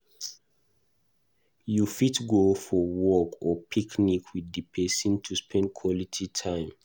You fit go for walk or picnic with di person to spend quality time